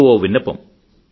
మీకు ఓ విన్నపం